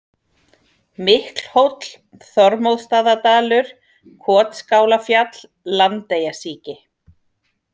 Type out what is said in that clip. Miklhóll, Þormóðsstaðadalur, Kotskálafjall, Landeyjasíki